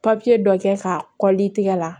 Papiye dɔ kɛ ka kɔllli tigɛ la